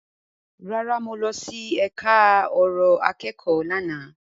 Rárá, mo lọ sí ẹka ọ̀rọ̀ akẹ́kọ̀ọ́ lánàá.